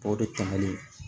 O de tɛmɛnen